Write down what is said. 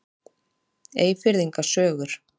Eyfirðinga sögur.